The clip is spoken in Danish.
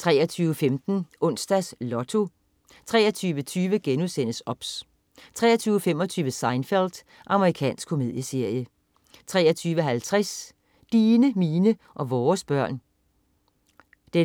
23.15 Onsdags Lotto 23.20 OBS* 23.25 Seinfeld. Amerikansk komedieserie 23.50 Dine, mine og vores børn 1:4.